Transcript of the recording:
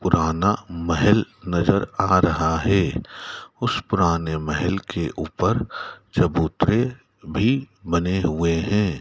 पुराना महेल नजर आ रहा है उस पुराने महेल के ऊपर चबूतरे भी बने हुए हैं।